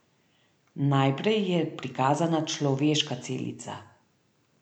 Najprej je prikazana človeška celica.